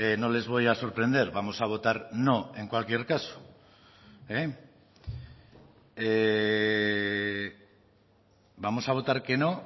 no les voy a sorprender vamos a votar no en cualquier caso vamos a votar que no